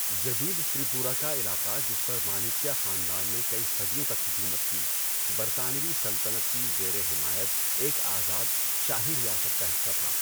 جدید تریپورہ کا علاقہ جس پر مانکیا خاندان نے کئی صدیوں تک حکومت کی، برطانوی سلطنت کی زیرِ حمایت ایک آزاد شاہی ریاست کا حصہ تھا۔